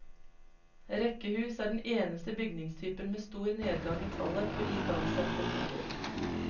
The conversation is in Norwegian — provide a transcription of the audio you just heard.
Rekkehus er den eneste bygningstypen med stor nedgang i tallet på igangsette boliger.